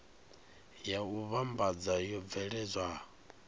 ya u vhambadza yo bveledzwa